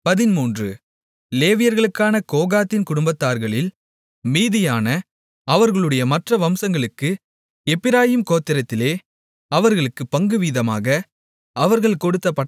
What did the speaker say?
லேவியர்களான கோகாத்தின் குடும்பத்தார்களில் மீதியான அவர்களுடைய மற்ற வம்சங்களுக்கு எப்பிராயீம் கோத்திரத்திலே அவர்களுக்குப் பங்குவீதமாக அவர்கள் கொடுத்த பட்டணங்களாவன